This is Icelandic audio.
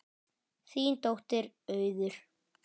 Þín dóttir Auður.